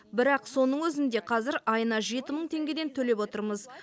бірақ соның өзінде қазір айына жеті мың теңгеден төлеп отырмыз